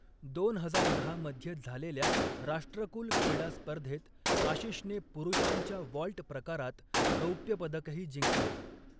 दोन हजार दहा मध्ये झालेल्या राष्ट्रकुल क्रीडा स्पर्धेत आशिषने पुरुषांच्या वॉल्ट प्रकारात रौप्य पदकही जिंकले.